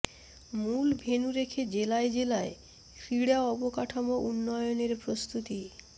মূল ভেন্যু রেখে জেলায় জেলায় ক্রীড়া অবকাঠামো উন্নয়নের প্রস্তুতি